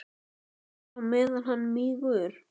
En bara á meðan hann mígur.